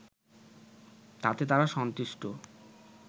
তাতে তারা সন্তুষ্ট